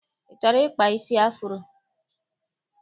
I chọrọ ịkpa isi afuro?